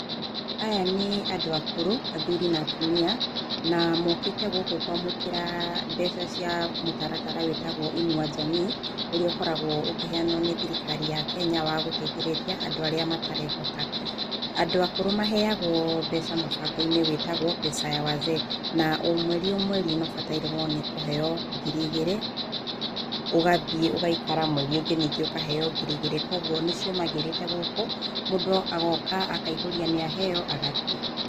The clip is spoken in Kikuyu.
Aya nĩ andũ akũrũ, athuri na atumia na mokĩte gũkũ kwamũkĩra mbeca cia mũtaratara ũrĩa wĩtagwo inua jamii ũrĩa ũkoragwo ũkĩheanwo nĩ thirikari ya kenya wa gũteithĩrĩria andũ arĩa matarehota, andũ akũrũ maheagwo mbeca mubango-inĩ wĩtagwo pesa ya wazee na o mweri o mweri mabatairio nĩ kũheo ngiri igĩrĩ ũgathiĩ ũgaikara ningĩ mweri ũngi ũkaheo ngiri ingĩ igĩrĩ kwoguo nĩcio magĩrĩte gũkũ mũndũ agoka akaihũria nĩ aheo agathiĩ.